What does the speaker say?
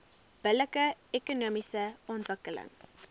billike ekonomiese ontwikkeling